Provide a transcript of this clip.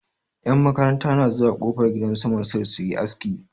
Yan makaranta na zuwa kofar gidan su Mansir su yi aski.